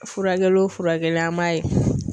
Furakɛli o furakɛli an b'a ye